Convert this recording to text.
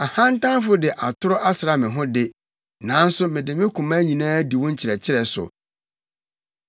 Ahantanfo de atoro asra me ho de, nanso mede me koma nyinaa di wo nkyerɛkyerɛ so.